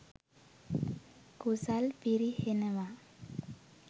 කුසල් පිරිහෙනවා.